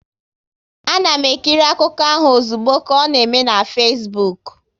A na m ekiri akụkọ ahụ ozugbo ka ọ na eme na Fesbuk